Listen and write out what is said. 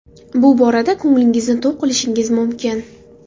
Bu borada ko‘nglingizni to‘q qilishingiz mumkin.